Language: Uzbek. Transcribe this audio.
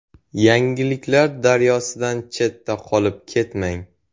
Yangiliklar daryosidan chetda qolib ketmang.